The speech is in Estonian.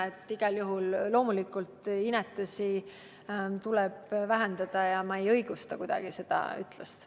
Aga igal juhul loomulikult inetusi tuleb vähendada ja ma kuidagi ei õigusta seda ütlust.